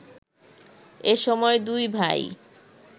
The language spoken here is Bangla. এসময় দুই ভাই